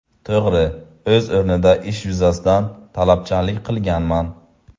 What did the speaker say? To‘g‘ri, o‘z o‘rnida ish yuzasidan talabchanlik qilganman.